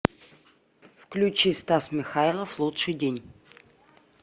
включи стас михайлов лучший день